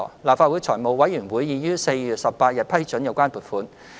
立法會財務委員會已於4月18日批准有關撥款。